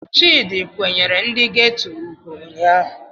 Chidi kwanyere ndi geto ugwu ụnyahụ.